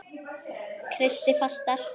Kreisti fastar.